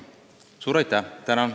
Suur aitäh!